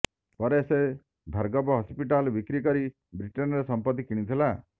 ପରେ ସେ ଭାର୍ଗବ ହସ୍ପିଟାଲ ବିକ୍ରି କରି ବ୍ରିଟେନରେ ସମ୍ପତ୍ତି କିଣିଥିଲେ